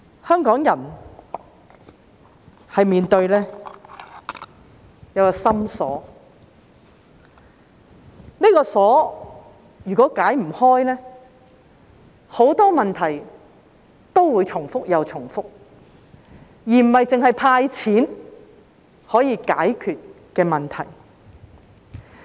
香港人面對一個心鎖，這個鎖如果不能解開，很多問題都會重複又重複，並非單靠"派錢"便可以解決。